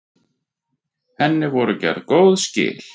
Henni voru gerð góð skil.